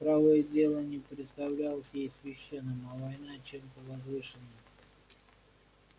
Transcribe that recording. правое дело не представлялось ей священным а война чем-то возвышенным